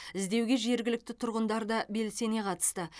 іздеуге жергілікті тұрғандар да белсене қатысты